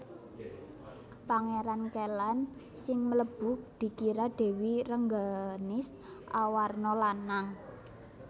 Pangéran Kélan sing mlebu dikira Dèwi Rengganis awarna lanang